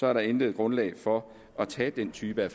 er der intet grundlag for at tage den type af